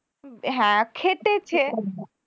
হ্যাঁ খেটেছে